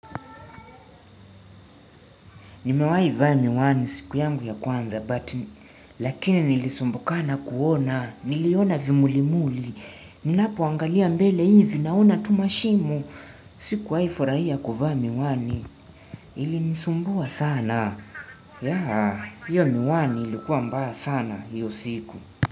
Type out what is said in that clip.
Nimewai vaa mi wani siku yangu ya kwanza, but lakini nilisumbukana kuona, niliona vimuli muli, ninapoangalia mbele hivi naona tumashimo, siku waifurahia kuvaa mi wani, ilinisumbua sana, yaa, hiyo miwani ilikuwa mbaya sana hiyo siku.